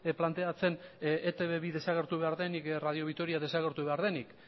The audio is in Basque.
planteatzen eitb bi desagertu behar denik edo radio vitoria desagertu behar denik